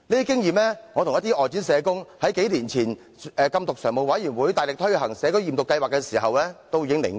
這是我與一些外展社工數年前在禁毒常務委員會大力推行社區驗毒計劃時汲取的經驗。